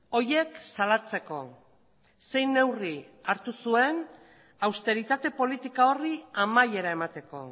horiek salatzeko zein neurri hartu zuen austeritate politika horri amaiera emateko